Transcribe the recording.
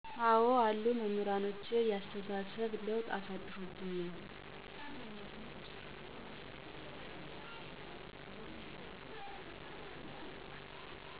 አዎ አሉ። መምህራኖቼ የአስተሳሰብ ለውጥ አሳድሮብኝል።